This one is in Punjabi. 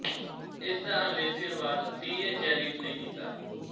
ਇਸ ਦਾ ਅੰਗਰੇਜੀ ਅਨੁਵਾਦ ਟੀ ਏ ਜੈਲੀਟ ਨੇ ਕੀਤਾ